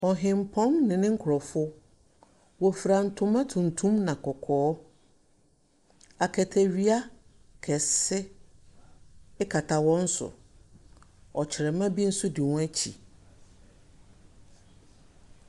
Ɔhenpɔn ne ne korɔfo. Wofra ntoma tuntum na kɔkɔɔ. Aketewea kɛse ekata wɔn so. Ɔkyerɛma bi so di wɔn kyi.